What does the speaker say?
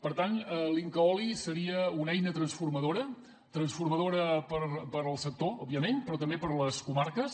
per tant l’incaoli seria una eina transformadora transformadora per al sector òbviament però també per a les comarques